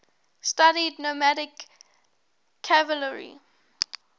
studied nomadic cavalry